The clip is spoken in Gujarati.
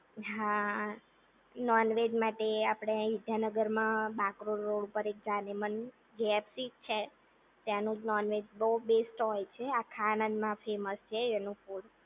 હા નોનવેજ માટે આપણે અહીંયા વિદ્યાનગરમાં બાકરોલ રોડ ઉપર જાનેમન કેએફસી જ છે, ત્યાંનું નોનવેજ બેસ્ટ હોય છે આખા આનંદમાં ફેમસ છે એનું ફૂડ